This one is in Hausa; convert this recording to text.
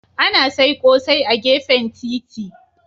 Ana sai ƙosai a gefen titi.